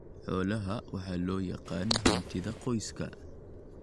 Xoolaha waxa loo yaqaan hantida qoyska.